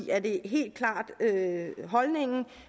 er det helt klart holdningen